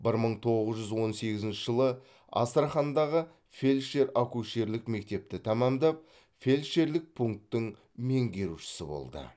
бір мың тоғыз жүз он сегізінші жылы астрахандағы фельдшер акушерлік мектепті тәмамдап фельдшерлік пунктің меңгерушісі болды